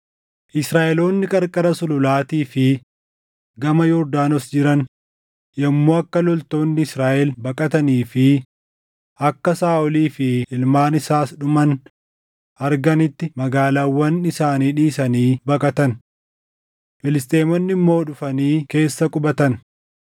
Israaʼeloonni qarqara sululaatii fi gama Yordaanos jiran yommuu akka loltoonni Israaʼel baqatanii fi akka Saaʼolii fi ilmaan isaas dhuman arganitti magaalaawwan isaanii dhiisanii baqatan. Filisxeemonni immoo dhufanii keessa qubatan.